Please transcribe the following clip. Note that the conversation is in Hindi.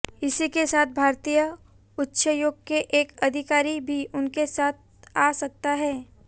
इसी के साथ भारतीय उच्चायोग के एक अधिकारी भी उनके साथ आ सकता है